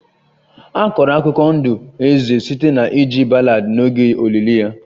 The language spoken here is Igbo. A kọrọ akụkọ ndụ eze site na iji ballad n'oge olili ya